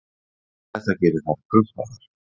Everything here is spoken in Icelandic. Þetta gerir þær krumpaðar.